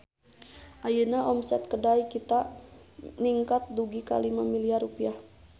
Ayeuna omset Kedai Kita ningkat dugi ka 5 miliar rupiah